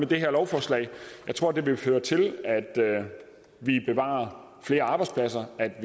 det her lovforslag jeg tror det vil føre til at vi bevarer flere arbejdspladser at